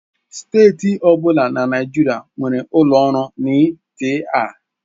Steeti ọ bụla na Naịjirịa nwere ụlọ ọrụ NTA.